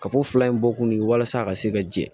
Ka ko fila in bɔ kun ye walasa a ka se ka jɛ